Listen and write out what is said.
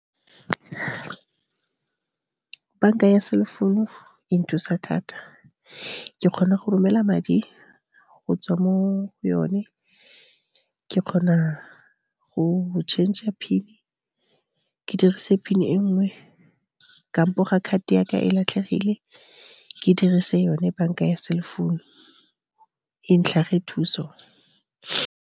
Bank-a ya cell phone-u e nthusa thata. Ke kgona go romela madi go tswa mo yone, ke kgona go changer PIN ke dirise PIN e nngwe, kampo ga card ya ka e latlhegile ke dirise yone bank-a ya cell phone-u e ntlhage thuso.